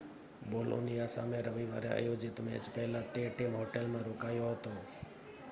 Bologna સામે રવિવારે આયોજિત મેચ પહેલાં તે ટીમ હોટેલમાં રોકાયો હતો